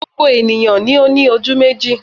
Gbogbo ènìyàn ni ó ní ojú méjì